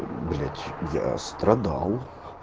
блять я страдал